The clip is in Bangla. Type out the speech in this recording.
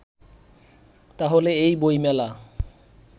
তাহলে এই বইমেলা